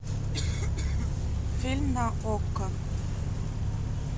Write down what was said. фильм на окко